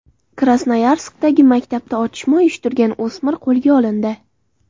Krasnoyarskdagi maktabda otishma uyushtirgan o‘smir qo‘lga olindi.